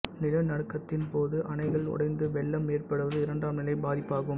நிலநடுக்கத்தின் போது அணைகள் உடைந்து வெள்ளம் ஏற்படுவது இரண்டாம் நிலை பாதிப்பாகும்